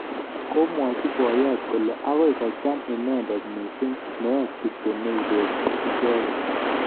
Komwach boyot kole agoi kocham inendet missing meet kityo neibestos icheget